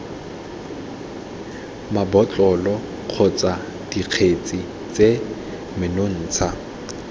mabotlolo kgotsa dikgetse tse menontsha